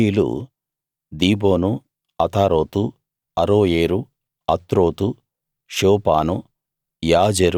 గాదీయులు దీబోను అతారోతు అరోయేరు అత్రోతు షోపాను